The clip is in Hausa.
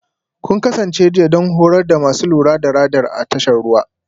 Kun kasance jiya don horar da masu lura da Radar a tashar ruwa?